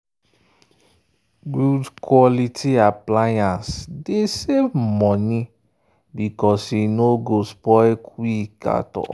good quality appliance dey save money because e no spoil quick.